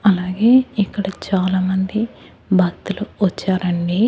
అలాగే ఇక్కడ చాలామంది భక్తులు వచ్చారండి.